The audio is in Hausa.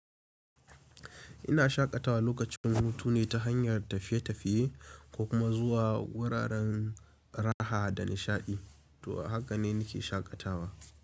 Ina shaƙatawa lokacin hutu ne ta hanyar tafiye-tafiye ko kuma zuwa wuraren raha da nishaɗi. To haka ne nake shaƙatawa.